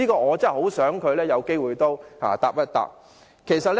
我很希望他有機會能夠回應一下。